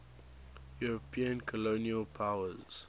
european colonial powers